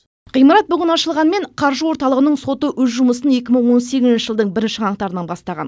ғимарат бүгін ашылғанмен қаржы орталығының соты өз жұмысын екі мың он сегізінші жылдың бірінші қаңтарынан бастаған